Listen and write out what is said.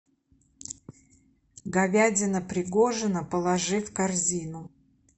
говядина пригожино положи в корзину